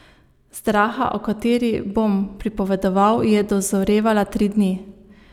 Zdraha, o kateri bom pripovedoval, je dozorevala tri dni.